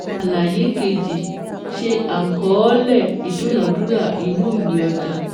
Àlàyé kejì ṣe àkọọ́lẹ̀ ìdúnàádúrà inú ìwé ọjà